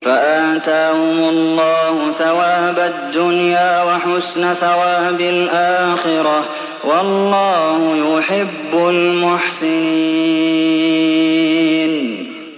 فَآتَاهُمُ اللَّهُ ثَوَابَ الدُّنْيَا وَحُسْنَ ثَوَابِ الْآخِرَةِ ۗ وَاللَّهُ يُحِبُّ الْمُحْسِنِينَ